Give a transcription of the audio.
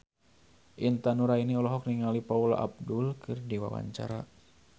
Intan Nuraini olohok ningali Paula Abdul keur diwawancara